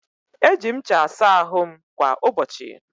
Eji m ncha asa ahụ m kwa ụbọchị.